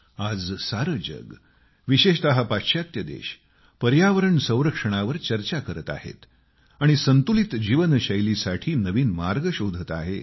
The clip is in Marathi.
आज सारे जग विशेषत पाश्चात्त्य देश पर्यावरण संरक्षणावर चर्चा करत आहेत आणि संतुलित जीवनशैलीसाठी नवीन मार्ग शोधत आहेत